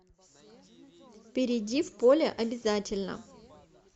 перейди в поле обязательно